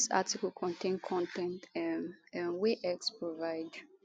dis article contain con ten t um um wey x provide